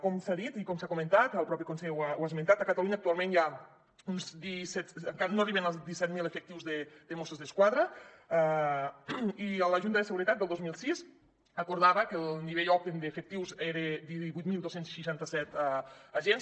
com s’ha dit i com s’ha comentat el conseller mateix ho ha esmentat a catalunya actualment encara no arriben als disset mil efectius de mossos d’esquadra i la junta de seguretat del dos mil sis acordava que el nivell òptim d’efectius era de divuit mil dos cents i seixanta set agents